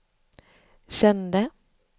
kände